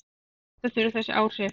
Meta þurfi þessi áhrif.